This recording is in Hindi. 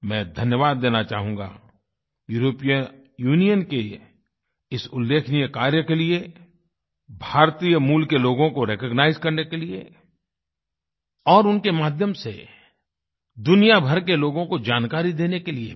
मैं धन्यवाद देना चाहूँगा यूरोपीय यूनियन के इस उल्लेखनीय कार्य के लिए भारतीय मूल के लोगों को रिकॉग्नाइज करने के लिए और उनके माध्यम से दुनिया भर के लोगों को जानकारी देने के लिए भी